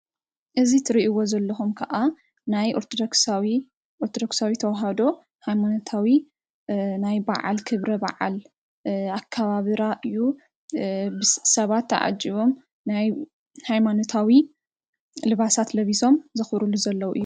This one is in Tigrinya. እዚ እትሪኢዎ ዘለኩም ከዓ ናይ ኦርቶዶክሳዊት ተዋህዶ ሃይማኖታዊ ናይ በዓል ክብሪ ኽብረ በዓል ኣካባብራ እዩ። ሰባት ተዓጂቦም ናይ ሃይማኖታዊ ልባሳት ለቢሶም ዛክብሩሉ ዘለዉ እዩ።